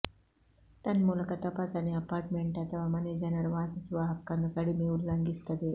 ತನ್ಮೂಲಕ ತಪಾಸಣೆ ಅಪಾರ್ಟ್ಮೆಂಟ್ ಅಥವಾ ಮನೆ ಜನರು ವಾಸಿಸುವ ಹಕ್ಕನ್ನು ಕಡಿಮೆ ಉಲ್ಲಂಘಿಸುತ್ತದೆ